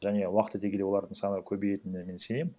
және уақыт өте келе олардың саны көбейетініне мен сенемін